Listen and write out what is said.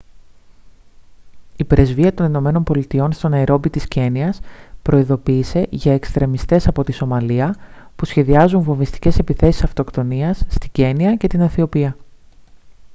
η πρεσβεία των ηνωμένων πολιτειών στο ναϊρόμπι της κένυας προειδοποίησε για «εξτρεμιστές από τη σομαλία» που σχεδιάζουν βομβιστικές επιθέσεις αυτοκτονίας στην κένυα και την αιθιοπία